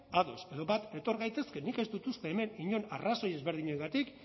ados edo bat etor gaitezke nik ez dut uste hemen inon arrazoi ezberdinengatik